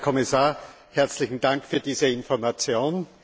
Herr Kommissar, herzlichen Dank für diese Information.